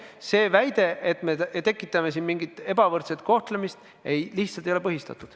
See väide, et me tekitame siin mingit ebavõrdset kohtlemist, lihtsalt ei ole põhistatud.